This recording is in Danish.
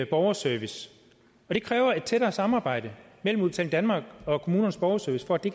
borgerservice og det kræver et tættere samarbejde mellem udbetaling danmark og kommunernes borgerservice for at det